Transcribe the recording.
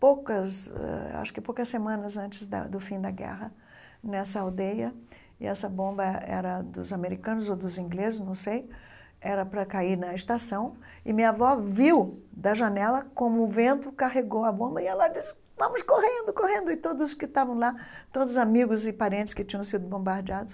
poucas eh acho que poucas semanas antes da do fim da guerra, nessa aldeia, e essa bomba era dos americanos ou dos ingleses, não sei, era para cair na estação, e minha avó viu da janela como o vento carregou a bomba e ela disse, vamos correndo, correndo, e todos que estavam lá, todos os amigos e parentes que tinham sido bombardeados,